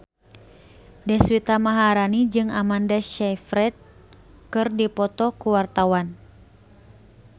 Deswita Maharani jeung Amanda Sayfried keur dipoto ku wartawan